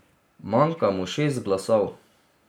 Manjka mu šest glasov.